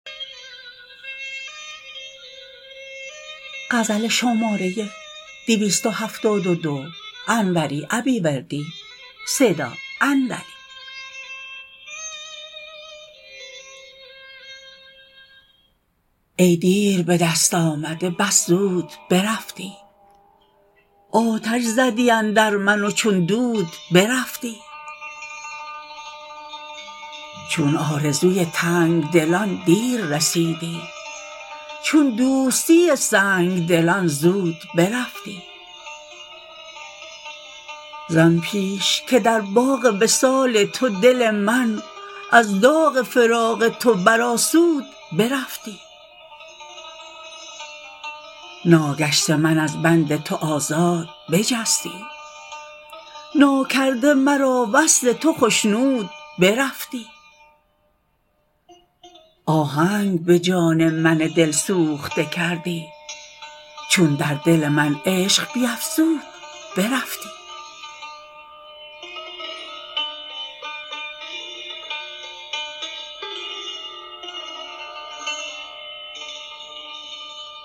ای دیر به دست آمده بس زود برفتی آتش زدی اندر من و چون دود برفتی چون آرزوی تنگ دلان دیر رسیدی چون دوستی سنگ دلان زود برفتی زان پیش که در باغ وصال تو دل من از داغ فراق تو برآسود برفتی ناگشته من از بند تو آزاد بجستی ناکرده مرا وصل تو خشنود برفتی آهنگ به جان من دلسوخته کردی چون در دل من عشق بیفزود برفتی